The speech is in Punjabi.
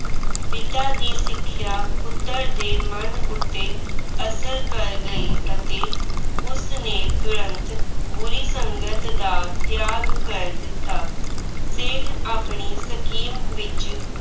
ਪਿਤਾ ਦੀ ਸਿੱਖਿਆ ਪੁੱਤਰ ਦੇ ਮਨ ਉੱਤੇ ਅਸਰ ਗਈ ਅਤੇ ਉਸਨੇ ਤੁਰੰਤ ਬੁਰੀ ਸੰਗਤ ਦਾ ਤਿਆਗ ਕਰ ਦਿੱਤਾ। ਸੇਠ ਆਪਣੀ scheme ਵਿੱਚ